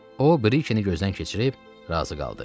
O, Brikeni gözdən keçirib razı qaldı.